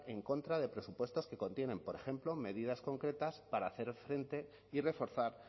en contra de presupuestos que contienen por ejemplo medidas concretas para hacer frente y reforzar